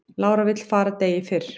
Lára vill fara degi fyrr